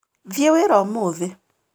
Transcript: Thiĩ wĩra ũmũthĩ